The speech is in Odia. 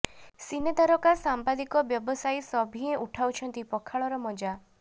ସିନେ ତାରକା ସାମ୍ବାଦିକ ବ୍ୟବସାୟୀ ସଭିଏଁ ଉଟାଉଛନ୍ତି ପଖାଳର ମଜା